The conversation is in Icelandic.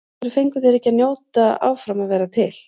Af hverju fengu þeir ekki að njóta áfram að vera til?